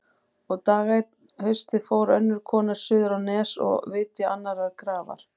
Og dag einn um haustið fór önnur kona suður á Nes að vitja annarrar grafar.